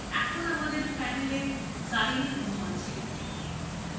এখন আমাদের panela xyleneঅণু আছে